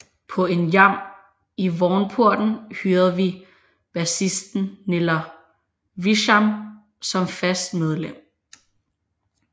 På en jam i Vognporten hyrede vi bassisten Niller Wischamnn som fast medlem